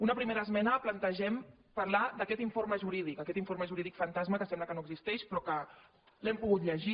en una primera esmena plan·tegem parlar d’aquest informe jurídic aquest informe jurídic fantasma que sembla que no existeix però que l’hem pogut llegir